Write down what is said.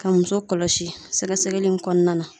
Ka muso kɔlɔsi sɛgɛsɛgɛli in kɔnɔna na